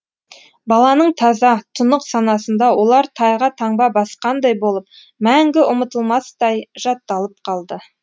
баланың таза тұнық санасында олар тайға таңба басқандай болып мәңгі ұмытылмастай жатталып қалды